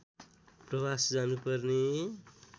प्रवास जानुपर्ने